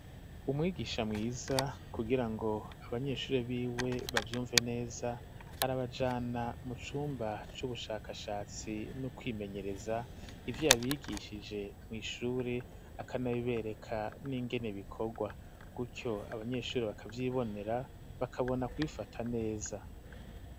Umwigisha mwiza kugira ngo abanyeshuri b'iwe bavyumve neza arabajana mu cumba c'ubushakashatsi no kwimenyereza, ivyo abigishije mw'ishuri akanabibereka n'ingene bikorwa, gutyo abanyeshuri bakavyibonera bakabona kubifata neza.